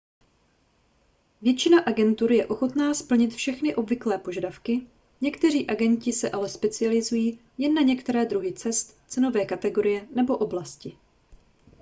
většina agentur je ochotná splnit všechny obvyklé požadavky někteří agenti se ale specializují jen na některé druhy cest cenové kategorie nebo oblasti